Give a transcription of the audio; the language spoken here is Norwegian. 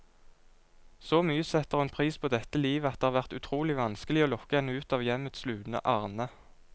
Så mye setter hun pris på dette livet, at det har vært utrolig vanskelig å lokke henne ut av hjemmets lune arne.